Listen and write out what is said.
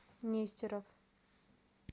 нестеров